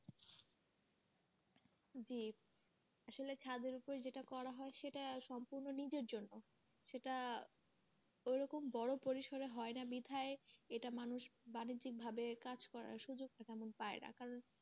জি আসলে ছাদের ওপরে যেটা করা হয় সেটা সম্পূর্ণ নিজের জন্য সেটা ওরকম বড় পরিসরে হয়না বৃথায় এটা মানুষ বাণিজ্যিক ভাবে কাজ করার সুযোগ টা তেমন পায়না কারন,